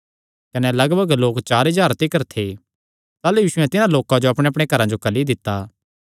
कने लगभग लोक चार हज़ार तिकर थे ताह़लू यीशुयैं तिन्हां लोकां जो अपणेअपणे घरां जो घल्ली दित्ता